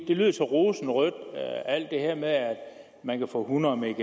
det lød så rosenrødt alt det her med at man kan få hundrede mbit